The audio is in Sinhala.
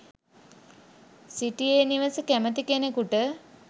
සිටි ඒ නිවස කැමති කෙනෙකුට